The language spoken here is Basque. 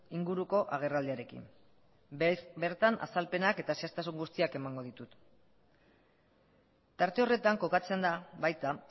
inguruko agerraldiarekin bertan azalpenak eta zehaztasun guztiak emango ditut tarte horretan kokatzen da baita